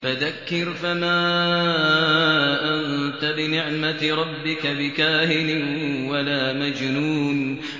فَذَكِّرْ فَمَا أَنتَ بِنِعْمَتِ رَبِّكَ بِكَاهِنٍ وَلَا مَجْنُونٍ